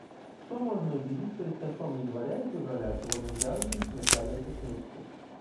что можно увидеть перед концом января и февраля чего нельзя увидеть в начале этих месяцев